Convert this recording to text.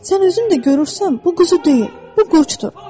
Sən özün də görürsən bu quzu deyil, bu qurdur.